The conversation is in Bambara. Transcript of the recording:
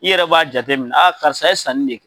I yɛrɛ b'a jateminɛ a karisa ye sanni de.